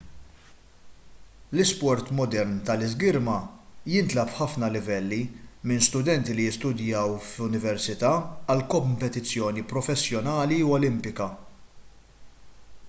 l-isport modern tal-iżgirma jintlagħab f'ħafna livelli minn studenti li jistudjaw f'università għal kompetizzjoni professjonali u olimpika